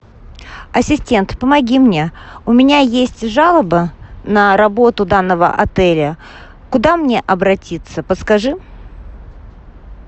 ассистент помоги мне у меня есть жалоба на работу данного отеля куда мне обратиться подскажи